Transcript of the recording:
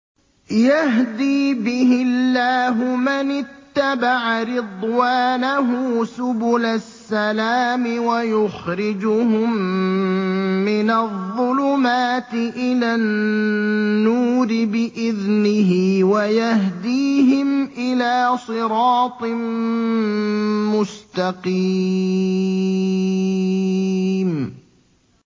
يَهْدِي بِهِ اللَّهُ مَنِ اتَّبَعَ رِضْوَانَهُ سُبُلَ السَّلَامِ وَيُخْرِجُهُم مِّنَ الظُّلُمَاتِ إِلَى النُّورِ بِإِذْنِهِ وَيَهْدِيهِمْ إِلَىٰ صِرَاطٍ مُّسْتَقِيمٍ